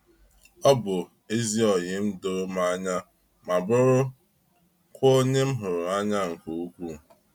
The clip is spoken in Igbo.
Ọ bụ ezi oyim doro mụ anya ma bụrụ kwa onye m hụrụ anyị nke ukwu.